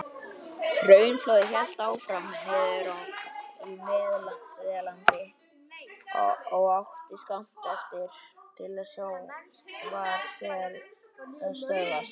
Hraunflóðið hélt áfram niður í Meðalland og átti skammt eftir til sjávar þegar það stöðvaðist.